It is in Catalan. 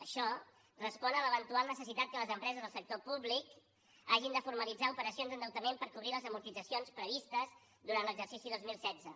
això respon a l’eventual necessitat que les empreses del sector públic hagin de formalitzar operacions d’endeutament per cobrir les amortitzacions previstes durant l’exercici dos mil setze